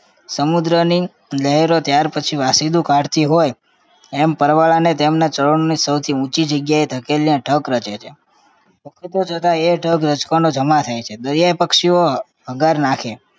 સમુદ્રની લહેરો ત્યારપછી વાસિંદુ કાઢતી હોય એમ પરવાળાને તેમના ચરણોની સૌથી ઊંચી જગ્યાએ ધકેલીને ઢગ રચે છે. જતા એ ઢગ રજકણો જમા થાય છે દરિયાઈ પક્ષીઓ હ~ હગાર નાખે